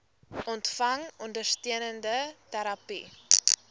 ontvang ondersteunende terapie